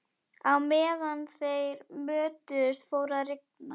Á meðan þeir mötuðust fór að rigna.